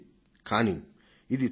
కానీ ఇది చూడండి